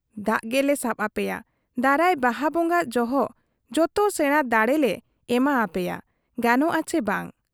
ᱫᱟᱜ ᱜᱮᱞᱮ ᱥᱟᱵ ᱟᱯᱮᱭᱟ, ᱫᱟᱨᱟᱭ ᱵᱟᱦᱟ ᱵᱚᱝᱜᱟ ᱡᱚᱦᱚᱜ ᱡᱚᱛᱚ ᱥᱮᱬᱟ ᱫᱟᱬᱮ ᱞᱮ ᱮᱢᱟ ᱟᱯᱮᱭᱟ ᱾ ᱜᱟᱱᱚᱜ ᱟ ᱪᱮ ᱵᱟᱝ ?